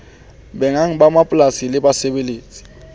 bannga ba mapolasi le basebeletsi